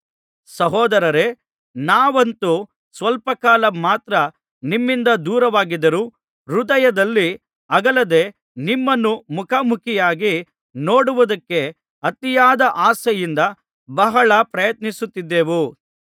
ಸಹೋದರರೇ ನಾವಂತೂ ಸ್ವಲ್ಪಕಾಲ ಮಾತ್ರ ನಿಮ್ಮಿಂದ ದೂರವಾಗಿದ್ದರೂ ಹೃದಯದಲ್ಲಿ ಅಗಲದೆ ನಿಮ್ಮನ್ನು ಮುಖಾಮುಖಿಯಾಗಿ ನೋಡುವುದಕ್ಕೆ ಅತಿಯಾದ ಆಸೆಯಿಂದ ಬಹಳ ಪ್ರಯತ್ನಿಸಿದೆವು